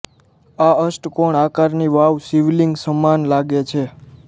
આ અષ્ટકોણ આકારની વાવ શિવલિંગ સમાન લાગે છે